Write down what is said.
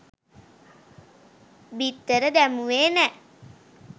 බිත්තර දැමුවේ නෑ